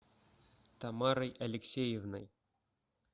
тамарой алексеевной